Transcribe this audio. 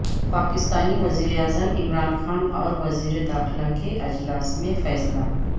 پاکستانی وزیراعظم عمران خان اور وزیر داخلہ کے اجلاس میں فیصلہ